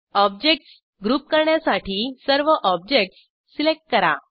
objects group करण्यासाठी सर्व objects select करा